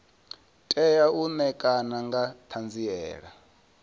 tea u ṋekana nga ṱhanziela